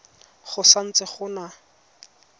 go sa ntse go na